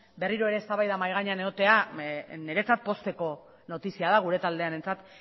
berriro ere eztabaida mahai gainean egotea niretzat pozteko notizia da gure taldearentzat